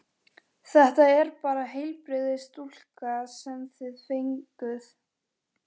Þetta er bara heilbrigðasta stúlka sem þið fenguð.